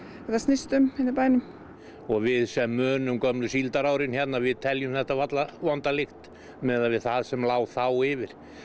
þetta snýst um hérna í bænum við sem munum gömlu síldarárin hérna teljum þetta varla vonda lykt miðað við það sem lá þá yfir